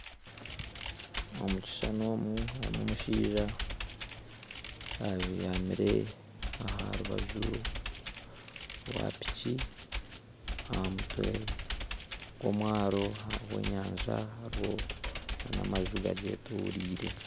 Omukishushani omu harimu omushaija abyamire aharubaju rwa piki ahamutwe gwomwaaro hariho enyanja hariho namaju gagyetoreire